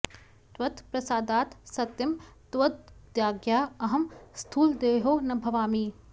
त्वत् प्रसादात् सत्यं त्वदाज्ञया अहं स्थूलदेहो न भवामि